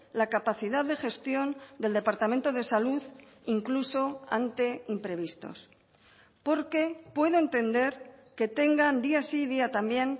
la capacidad de gestión del departamento de salud incluso ante imprevistos porque puedo entender que tengan día sí y día también